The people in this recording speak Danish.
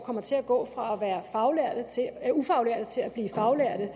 kommer til at gå fra at være ufaglærte til at blive faglærte